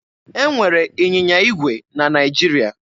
E nwere ịnyịnya igwe na Naịjirịa.